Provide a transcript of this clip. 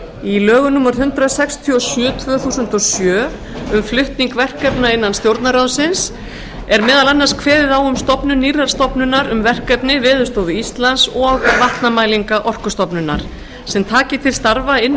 í lögum númer hundrað sextíu og sjö tvö þúsund og sjö um flutning verkefna innan stjórnarráðsins er meðal annars kveðið á um stofnun nýrrar stofnunar um verkefni veðurstofu íslands og vatnamælinga orkustofnunar sem taki til starfa innan